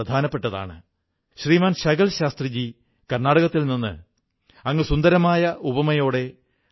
ബസാറിൽ നിന്ന് സാധനങ്ങൾ വാങ്ങുമ്പോൾ നാം പ്രാദേശിക ഉത്പന്നങ്ങൾക്ക് പ്രാധാന്യം കൊടുക്കണം